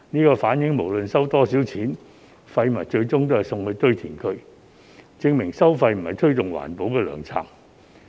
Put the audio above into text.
這反映不論收多少錢，廢物最終也是送到堆填區，證明收費並非推動環保的良策。